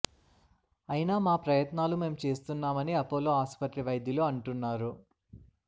అయినా మా ప్రయత్నాలు మేం చేస్తున్నామని అపోలో ఆసుపత్రి వైద్యులు అంటున్నారు